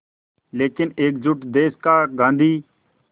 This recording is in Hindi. लेकिन एकजुट देश का गांधी